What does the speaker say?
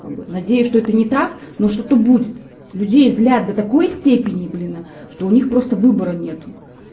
как бы надеюсь что это не так но что-то будет людей злят до такой степени блин а что у них просто выбора нету